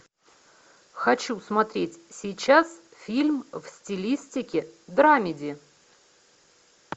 хочу смотреть сейчас фильм в стилистике драмеди